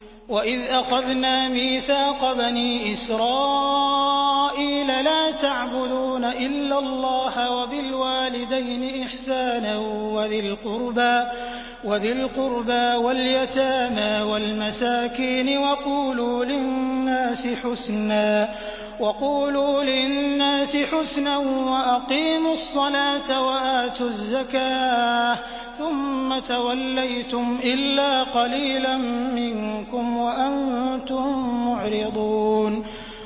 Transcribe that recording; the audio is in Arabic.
وَإِذْ أَخَذْنَا مِيثَاقَ بَنِي إِسْرَائِيلَ لَا تَعْبُدُونَ إِلَّا اللَّهَ وَبِالْوَالِدَيْنِ إِحْسَانًا وَذِي الْقُرْبَىٰ وَالْيَتَامَىٰ وَالْمَسَاكِينِ وَقُولُوا لِلنَّاسِ حُسْنًا وَأَقِيمُوا الصَّلَاةَ وَآتُوا الزَّكَاةَ ثُمَّ تَوَلَّيْتُمْ إِلَّا قَلِيلًا مِّنكُمْ وَأَنتُم مُّعْرِضُونَ